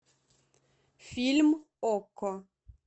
фильм окко